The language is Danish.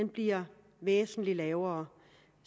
bliver væsentlig lavere